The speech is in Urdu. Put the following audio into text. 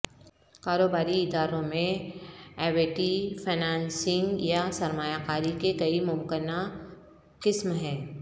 کاروباری اداروں میں ایوئٹی فنانسنگ یا سرمایہ کاری کے کئی ممکنہ قسم ہیں